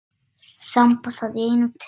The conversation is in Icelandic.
Þamba það í einum teyg.